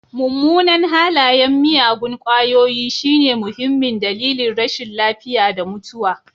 Mummunan halayen miyagun ƙwayoyi shine muhimmin dalilin rashin lafiya da mutuwa.